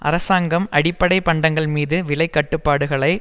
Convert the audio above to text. அரசாங்கம் அடிப்படை பண்டங்கள் மீது விலை கட்டுப்பாடுகளை